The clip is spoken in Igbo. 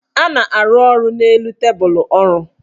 A na-arụ ọrụ n' elu tebulu ọrụ.